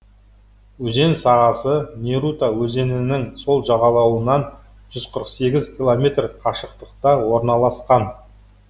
өзен сағасы нерута өзенінің сол жағалауынан жүз қырық сегіз километр қашықтықта орналасқан